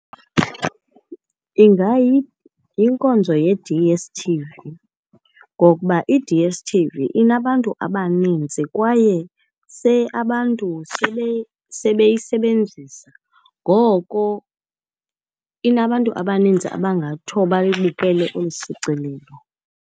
Ingayinkonzo ye-D_S_T_V, ngokuba i-D_S_T_V inabantu abaninzi kwaye abantu sebeyisebenzisa. Ngoko inabantu abaninzi abangathi uba bayibukele olu shicilelo.